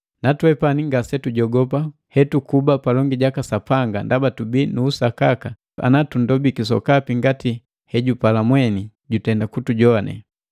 Na twepani ngase tujogopa hetukuba palongi jaka Sapanga ndaba tubii nu usakaka ana tunndobiki sokapi ngati hejupala mweni, jutenda kutujoane.